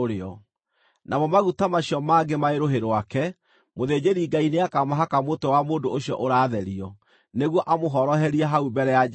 Namo maguta macio mangĩ marĩ rũhĩ rwake, mũthĩnjĩri-Ngai nĩakamahaka mũtwe wa mũndũ ũcio ũratherio, nĩguo amũhoroherie hau mbere ya Jehova.